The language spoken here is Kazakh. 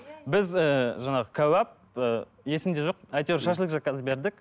біз ыыы жаңағы кәуәп ыыы есімде жоқ әйтеуір шашлық заказ бердік